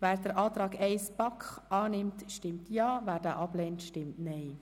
Wer den Antrag 1 der BaK annimmt, stimmt Ja, wer diesen ablehnt, stimmt Nein.